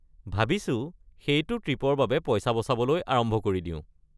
ভাবিছো সেইটো ট্ৰিপৰ বাবে পইচা বচাবলৈ আৰম্ভ কৰি দিওঁ।